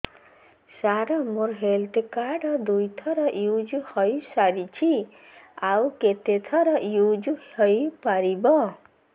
ସାର ମୋ health card ଦୁଇ ଥର ୟୁଜ଼ ହୈ ସାରିଛି ଆଉ କେତେ ଥର ୟୁଜ଼ ହୈ ପାରିବ